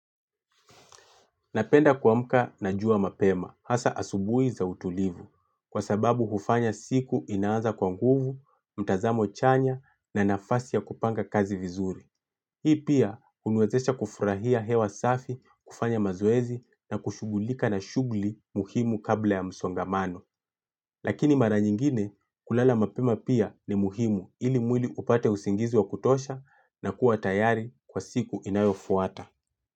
Napenda kuamka na jua mapema, hasa asubuhi za utulivu, kwa sababu hufanya siku inaaza kwa nguvu, mtazamo chanya na nafasi ya kupanga kazi vizuri. Hii pia, huniwezesha kufurahia hewa safi, kufanya mazoezi na kushugulika na shughulika muhimu kabla ya msongamano. Lakini mara nyingine, kulala mapema pia ni muhimu ili mwili upate usingizi wa kutosha na kuwa tayari kwa siku inayofuata.